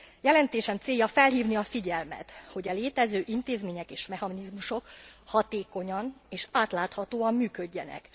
Jelentésem célja felhívni a figyelmet, hogy e létező intézmények és mechanizmusok hatékonyan és átláthatóan működjenek.